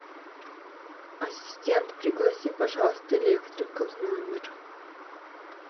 ассистент пригласи пожалуйста электрика в номер